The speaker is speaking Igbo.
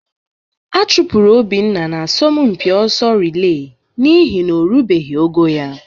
A chụpụrụ Obinna n'asọmpi ọsọ rịlee n'ihi na o rubeghị ogo ya